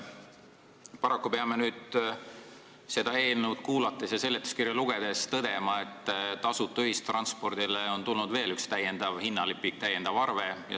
Paraku peame selle eelnõu tutvustust kuulates ja seletuskirja lugedes tõdema, et tasuta ühistranspordile on tulnud juurde veel üks täiendav hinnalipik, täiendav arve.